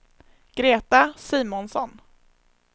Greta Simonsson